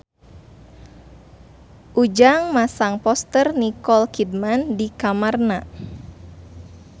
Ujang masang poster Nicole Kidman di kamarna